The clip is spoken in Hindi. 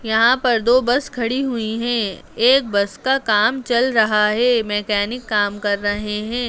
यहाँ पर दो बस खड़ा हुई हैं एक बस का काम चल रहा है मैकेनिक काम कर रहे हैं।